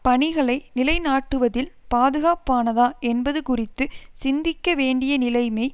பணிகளை நிலை நாட்டுவதில் பாதுகாப்பானதா என்பது குறித்து சிந்திக்கவேண்டிய நிலைமை